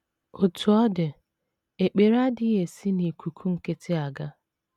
Otú ọ dị, ekpere adịghị esi n’ikuku nkịtị aga.